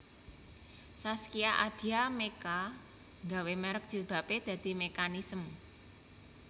Zaskia Adya Mecca nggawe merk jilbabe dadi Meccanism